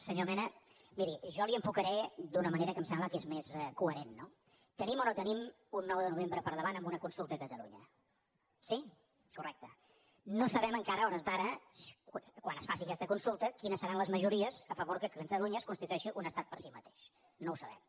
senyor mena miri jo li ho enfocaré d’una manera que em sembla que és més coherent no tenim o no tenim un nou de novembre amb una consulta a catalunya no sabem encara a hores d’ara quan es faci aquesta consulta quines seran les majories a favor que catalunya es constitueixi un estat per si mateix no ho sabem